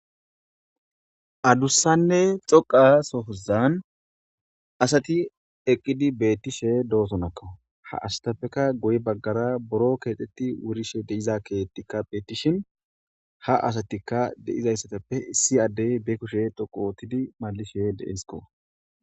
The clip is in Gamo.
addussanne xoqa sohozan asati eqqidi beettishe doosonakka ha asatappeka goy baggara boro keexetti wurishe deiza keettikka beettishin ha asatikka de7izayssatappe si addey be kushe doqu ootidi malishe deesko